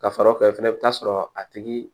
Ka fara o kan fɛnɛ i bi taa sɔrɔ a tigi